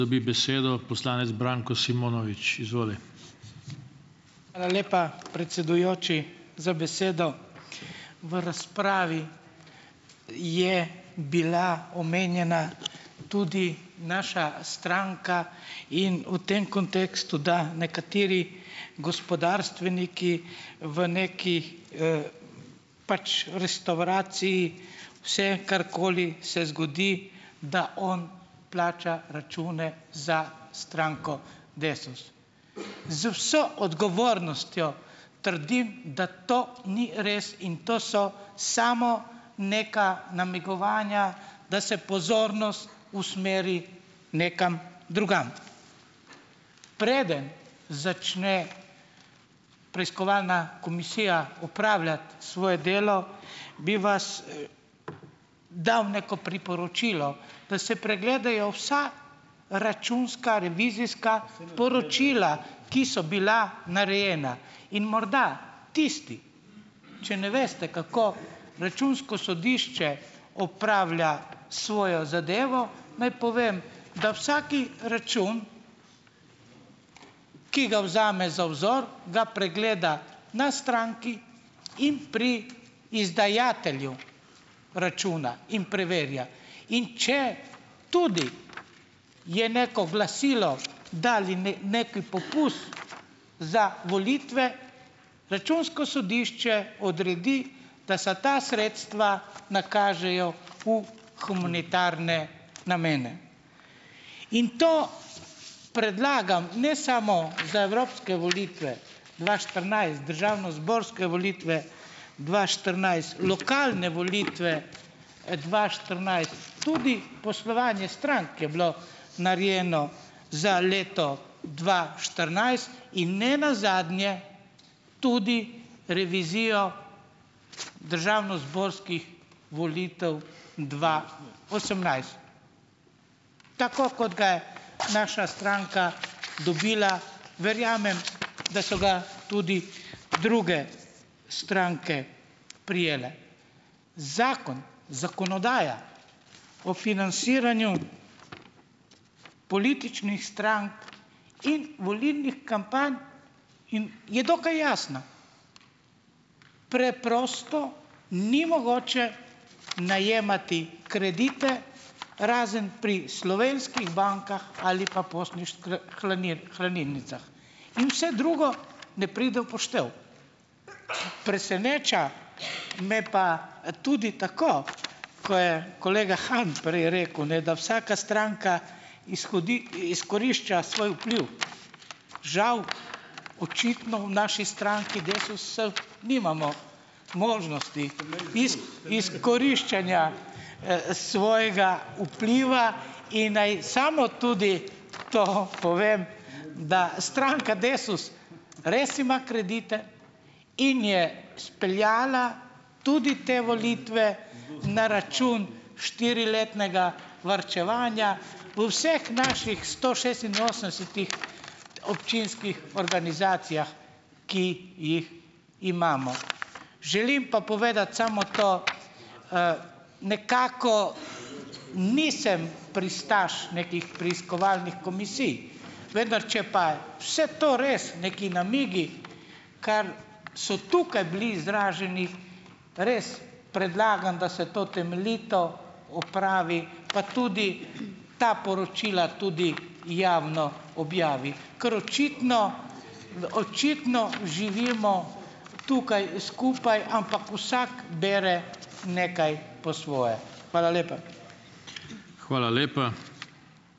Hvala lepa predsedujoči za besedo. V razpravi je bila omenjena tudi naša stranka in v tem kontekstu, da nekateri gospodarstveniki v neki, pač restavraciji vse, karkoli se zgodi, da on plača račune za stranko Desus. Z vso odgovornostjo trdim, da to ni res in to so samo neka namigovanja, da se pozornost usmeri nekam drugam. Preden začne preiskovalna komisija opravljati svoje delo, bi vas dam neko priporočilo, pa se pregledajo vsa računska, revizijska poročila, ki so bila narejena. In morda tisti, če ne veste kako računsko sodišče opravlja svojo zadevo, naj povem, da vsak račun, ki ga vzame za vzor, ga pregleda na stranki in pri izdajatelju računa in preverja. In če tudi je neko glasilo dali nekaj za volitve, računsko sodišče odredi, da so ta sredstva nakažejo v humanitarne namene. In to predlagam, ne samo za evropske volitve dva štirinajst, državnozborske volitve dva štirinajst, lokalne volitve, dva štirinajst, tudi poslovanje strank je bilo narejeno za leto dva štirinajst in ne nazadnje tudi revizijo državnozborskih volitev dva osemnajst. Tako kot ga je naša stranka dobila. Verjamem, da so ga tudi druge stranke prijele. Zakon, zakonodaja o financiranju političnih strank in volilnih kampanj in je dokaj jasna. Preprosto ni mogoče najemati kredite, razen pri slovenskih bankah ali pa hranilnicah. In vse drugo ne pride v poštev. Preseneča me pa, tudi tako, ko je kolega Han prej rekel, ne, da vsaka stranka izkorišča svoj vpliv, žal, očitno v naši stranki Desusu nimamo možnosti izkoriščanja, svojega vpliva. In naj samo tudi to povem, da stranka Desus res ima kredite in je speljala tudi te volitve na račun štiriletnega varčevanja v vseh naših sto šestinosemdesetih občinskih organizacijah, ki jih imamo. Želim pa povedati samo to, nekako nisem pristaš nekih preiskovalnih komisij. Vendar če pa je vse to res, neki namigi, kar so tukaj bili izraženi, res predlagam, da se to temeljito opravi, pa tudi ta poročila tudi javno objavi, ker očitno v očitno živimo tukaj skupaj, ampak vsak bere nekaj po svoje. Hvala lepa.